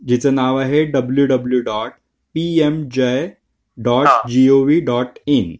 तिचं नाव आहे W W dot PMJAY dot GOV dot in